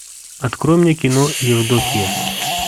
открой мне кино евдокия